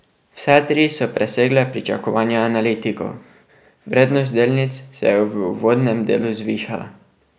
Vse tri so presegle pričakovanja analitikov, vrednost delnic se je v uvodnem delu zvišala.